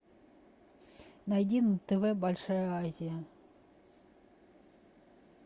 найди на тв большая азия